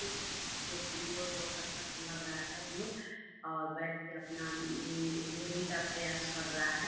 मोर हैं जो कि मोर बहुत अच्छा सा लग रहा हैं मोर और बेठ के अपना अम उड़ने का प्रयास कर रहा हैं|